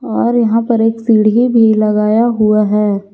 और यहां पर एक सीढ़ी भी लगाया हुआ है।